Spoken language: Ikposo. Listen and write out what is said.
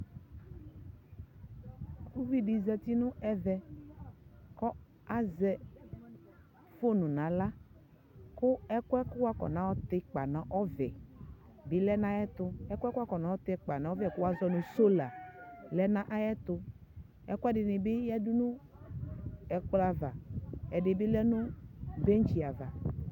ʋvi di zati nʋ ɛvɛ, kʋ azɛ phone nʋ ala, kʋ ɛkʋɛ wʋ kɔna yɔ tɛ ikpa nʋ ɔvɛ bi lɛnʋ ayɛtʋ, ɛkʋɛɛ wafɔnɔ tɛ ikpa nʋ ɔvɛ kʋ wazɔnʋ sola lɛnʋ ayɛtʋ, ɛkʋɛdini bi yɛdʋ nʋ ɛkplɔ aɣa ɛdini bi lɛnʋ bɛnchi aɣa